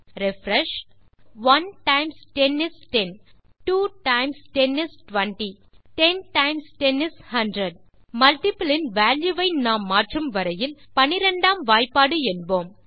refresh 1 times 10 is 10 2 times 10 is 20 10 times 10 is a hundred multiple in value வை நாம் மாற்றும் வரையில் 12 ஆம் வாய்பாடு என்போம்